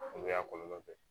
O y'a kɔlɔlɔ ye